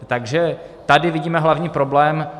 Takže tady vidíme hlavní problém.